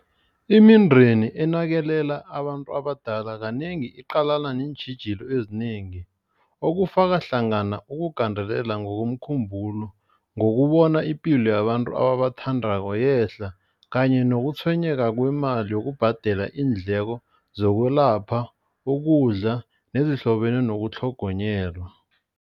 Imindeni enakelela abantu abadala kanengi iqalana neentjhijilo ezinengi. Okufaka hlangana ukugandelela ngokomkhumbulo. Ngokubona ipilo yabantu ababathandako yehla kanye nokutshwenyeka kwemali yokubhadela iindleko zokwelapha, ukudla nezihlobene nokutlhogonyelwa.